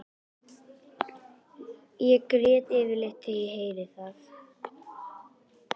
Ég græt yfirleitt þegar ég heyri það.